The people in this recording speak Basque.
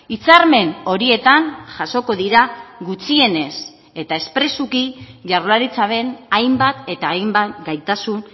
hitzarmen horietan jasoko dira gutxienez eta espresuki jaurlaritzaren hainbat eta hainbat gaitasun